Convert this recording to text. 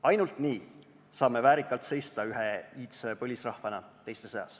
Ainult nii saame väärikalt seista ühe iidse põlisrahvana teiste seas.